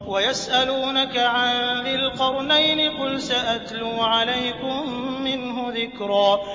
وَيَسْأَلُونَكَ عَن ذِي الْقَرْنَيْنِ ۖ قُلْ سَأَتْلُو عَلَيْكُم مِّنْهُ ذِكْرًا